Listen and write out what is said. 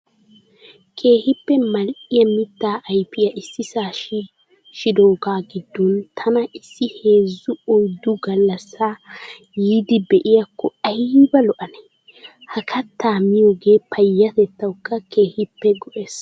Keehippe mal''iyaa mittaa ayipiyaa issisaa shiishshidooga gidoon tana issi heezzu oyiddu gallassaa yeddi be'iyaakko ayiba lo''anee. Ha kattaa miyoogee payyatettawukka keehippe go'es.